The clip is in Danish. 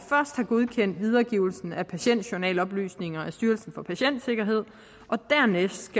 godkendt videregivelsen af patientjournaloplysninger af styrelsen for patientsikkerhed og dernæst